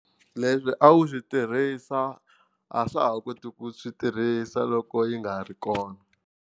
Leswi a wu swi tirhisa a swa ha koti ku swi tirhisa loko yi nga ri kona.